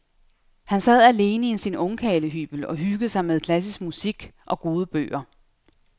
Han sad alene i sin ungkarlehybel og hyggede sig med klassisk musik og gode bøger.